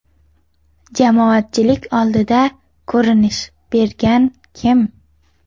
Jamoatchilik oldida ko‘rinish bergan Kim.